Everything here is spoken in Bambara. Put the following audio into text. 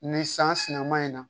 Ni san sinaman in na